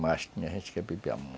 Mas tinha gente que bebia